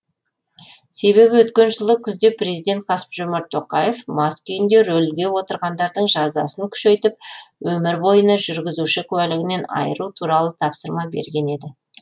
себебі өткен жылы күзде президент қасым жомарт тоқаев мас күйінде рөлге отырғандардың жазасын күшейтіп өмір бойына жүргізуші куәлігінен айыру туралы тапсырма берген еді